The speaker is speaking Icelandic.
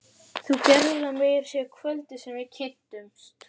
Þú gerðir það meira að segja kvöldið sem við kynntumst.